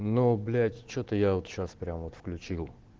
ну блять что-то я вот сейчас прямо вот включил